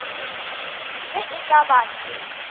ge e ka ba ke